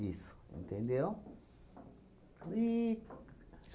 entendeu? E